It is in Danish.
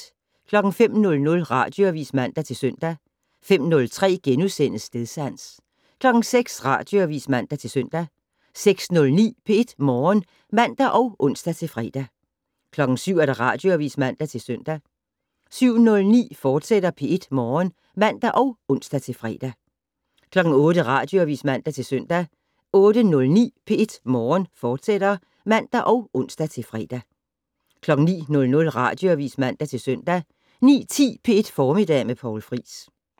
05:00: Radioavis (man-søn) 05:03: Stedsans * 06:00: Radioavis (man-søn) 06:09: P1 Morgen (man og ons-fre) 07:00: Radioavis (man-søn) 07:09: P1 Morgen, fortsat (man og ons-fre) 08:00: Radioavis (man-søn) 08:09: P1 Morgen, fortsat (man og ons-fre) 09:00: Radioavis (man-søn) 09:10: P1 Formiddag med Poul Friis